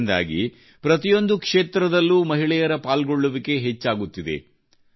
ಇದರಿಂದಾಗಿ ಪ್ರತಿಯೊಂದು ಕ್ಷೇತ್ರದಲ್ಲೂ ಮಹಿಳೆಯರ ಪಾಲ್ಗೊಳ್ಳುವಿಕೆ ಹೆಚ್ಚಾಗುತ್ತಿದೆ